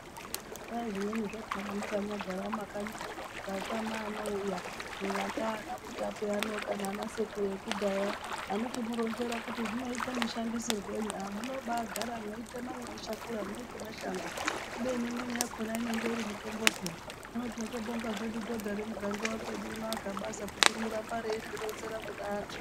Kwai zvimweni zvakona mwakanyagara mumakanyimwo mukatame anouya vanaMutape kana vanasekuru vekudhaya anochimuronzera kuti zvinoite mushandisirwei munobaagara mweitema mweishakura, mweiti mashango kubeni imweni yakona inonga iri mitombo peya, hino tinotobonga zvedu dhodha remuganga wedu uno aGabaza kuti rinoramba reizvironzera anhu.